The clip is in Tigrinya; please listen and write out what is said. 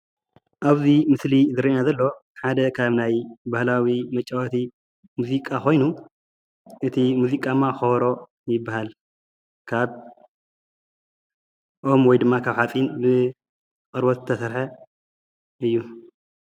ኣብዚ ምስሊ ዝረእየና ዘሎ ሓደ ካብ ናይ ባህላዊ መጫወቲ ሙዚቃ ኮይኑ እቲ ሙዚቃማ ከበሮ ይበሃል። ካብ ኦም ወይ ድማ ካብ ሓፂን ብቆርበት ዝተሰርሐ እዩ፡፡